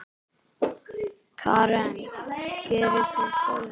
Karen: Gerir þú góðverk?